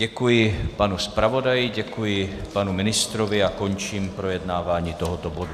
Děkuji panu zpravodaji, děkuji panu ministrovi a končím projednávání tohoto bodu.